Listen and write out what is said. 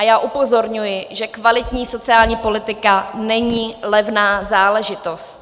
A já upozorňuji, že kvalitní sociální politika není levná záležitost.